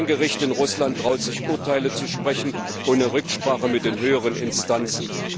Kein Gericht in Russland traut sich Urteile zu sprechen ohne Rücksprache mit den höheren Instanzen.